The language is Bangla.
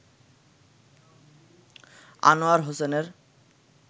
আনোয়ার হোসেনের